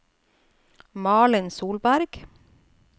Malin Solberg